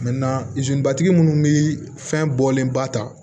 tigi munnu bɛ fɛn bɔlen ba ta